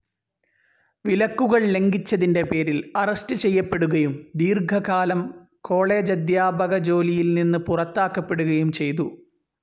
വിലക്കുകൾ ലംഘിച്ചതിൻ്റെപേരിൽ അറസ്റ്റ്‌ ചെയ്യപ്പെടുകയും ദീർഘകാലം കോളേജധ്യാപകജോലിയിൽനിന്ന് പുറത്താക്കപ്പെടുകയും ചെയ്തു.